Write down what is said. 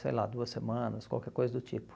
Sei lá, duas semanas, qualquer coisa do tipo.